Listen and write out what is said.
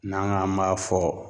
N'an k'an b'a fɔ